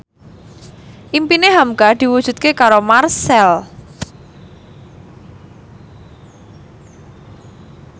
impine hamka diwujudke karo Marchell